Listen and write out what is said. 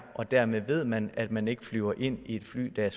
og dermed ved man at man ikke flyver ind i et fly der